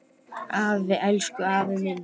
Afi, elsku afi minn.